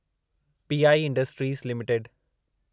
P I industries limited